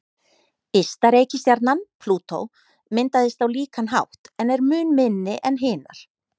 Ysta reikistjarnan, Plútó, myndaðist á líkan hátt en er mun minni en hinar.